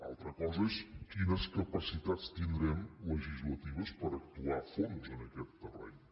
altra cosa és quines capacitats tindrem legislatives per actuar a fons en aquest terreny